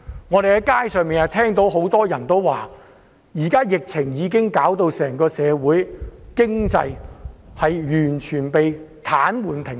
我們在街上不時聽到有人說，現時疫情已導致社會經濟完全癱瘓、停擺。